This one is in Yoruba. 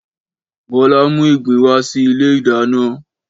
Bọ́lá mú ìgbín wa si ilé ìdáná.